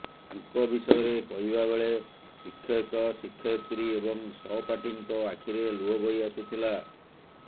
ତାଙ୍କ ବିଷୟରେ କହିବା ବେଳେ ଶିକ୍ଷକ ଶିକ୍ଷୟତ୍ରୀ ଏବଂ ସହପାଠୀଙ୍କ ଆଖିରେ ଲୁହ ବହି ଆସୁଥିଲା